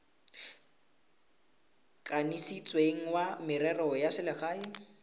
kanisitsweng wa merero ya selegae